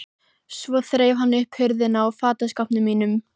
Svo þreif hann upp hurðina á fataskápnum mínum.